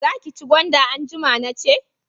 Za ki ci gwanda anjima nace